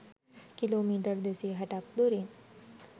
Kilometre 260 ක් දුරින්.